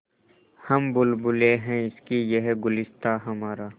हम बुलबुलें हैं इसकी यह गुलसिताँ हमारा